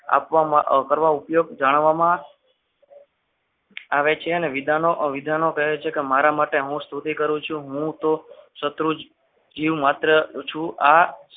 આપવામાં કરવામાં ઉપયોગ જાણવામાં આવે છે અને વિધાનો વિધાનો કે મારા માટે હું સ્તુતિ કરું છું હું તો શત્રુંજ જીવ માત્ર